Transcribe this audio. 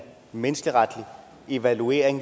menneskeretlig evaluering